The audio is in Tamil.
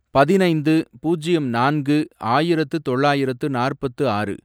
பதினைந்து , பூஜ்யம் நான்கு, ஆயிரத்து தொள்ளாயிரத்து நாற்பத்து ஆறு